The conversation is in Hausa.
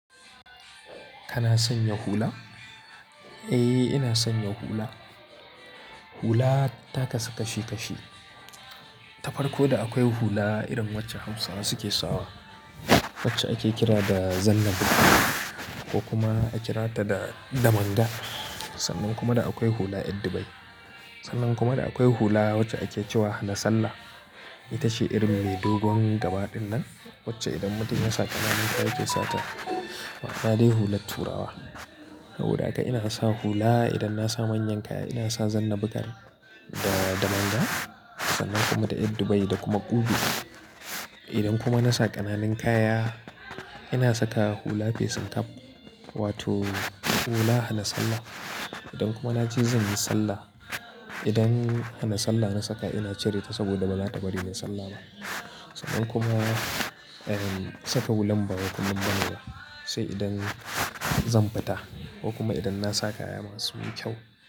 Kana sanya hula? Eh, ina sanya hula. Hula ta kasa kashi kashi. Ta farko da akwai hula irin wacce Hausawa suke sawa, wacce ake kira da zanna bukar ko kuma ake kira ta da damanga. Sannan kuma da akwai hula eddubai. Sannan kuma da akwai hula wacce ake cewa hanasalla. Ita shi irin mai dogon gaba dinnan wacce idan mutum ya sa ƙananun kaya yake sa ta. Kq ga dai hulat turawa. Saboda da haka ina sa hula idan na sa manyan kaya, ina sa zanna bukar da, da manga, sannan kuma da ƴardubai da kuma kubi. Idan kuma na sa ƙananuln kaya, ina saka hula facing cap wato hula hana sallah. Idan kuma na je zan yi sallah, idan hana sallah na saka ina cire ta saboda ba za ta bari ni sallah ba. Dan kuma, eh saka wulam ba kullum ba ne ba, sai idan zan fita ko kuma idan na saka kaya masu kyau.